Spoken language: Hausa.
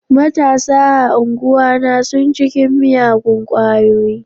Matasa a anguwana sun cikin miyagun kwayoyi.